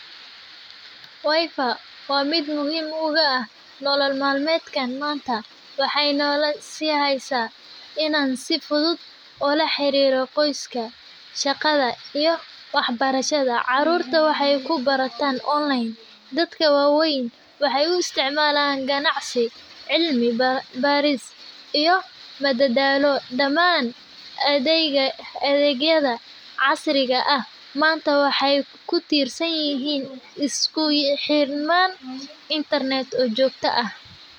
Wifi waa mid muhiim uga ah nolol maalmeedkan. Maanta waxay nolol si hayso inaan sifudud ula xiriirro qoyska, shaqada iyo waxbarashada. Caruurta waxay ku barataan online. Dadka waaweyn waxay u isticmaalaan ganacsi, cilmi, baarista iyo madadaalo. Dhammaan adegga adegyada casriga ah. Maanta waxay ku tiirsanyihiin isku xirman internet u joogta ah.